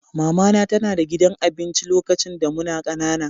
Mama na tana da gidan abinci lokacin da muna ƙanana.